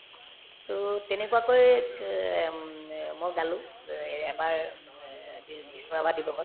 to তেনেকুৱাকৈ ক উম অ মই গালো ও অ এ‍ এবাৰ উব এ বি বিষ্ণু ৰাভা দিৱসত